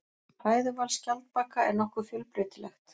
Fæðuval skjaldbaka er nokkuð fjölbreytilegt.